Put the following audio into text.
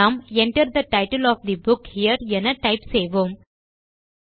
நாம் Enter the title of the book here என type செய்வோம்